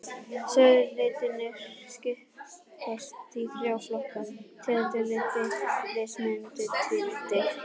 Sauðalitirnir skiptast í þrjá flokka, tegundir lita, litamynstur og tvíliti.